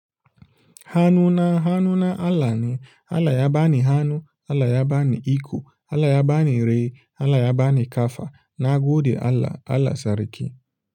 Hanu na, hanu na Allah ne. Allah ya ba ni hanu, Allah ya ba ni iko, Allah ya ba ni raye, Allah ya ba ni ƙafa. Na gode Allah Allah sarki.